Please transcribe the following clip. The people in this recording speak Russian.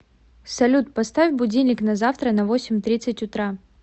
салют поставь будильник на завтра на восемь тридцать утра